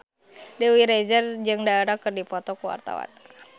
Dewi Rezer jeung Dara keur dipoto ku wartawan